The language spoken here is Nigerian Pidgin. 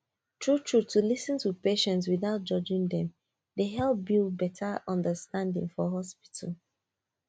true true to lis ten to patients without judging dem dey help build better understanding for hospital